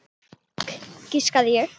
Fisk, giskaði ég.